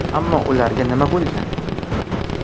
Ammo ularga nima bo‘lgan?